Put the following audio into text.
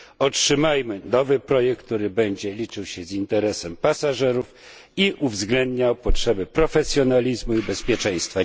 Otrzymajmy nowy projekt, który będzie liczył się z interesem pasażerów i uwzględniał potrzebę profesjonalizmu i bezpieczeństwa.